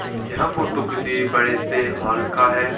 यह फोटो किसी बड़े से हॉल का है।